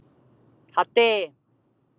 Haddi